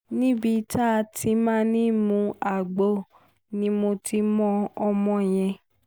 níbi tá a ti máa ń mú agbo ni mo ti mọ ọmọ yẹn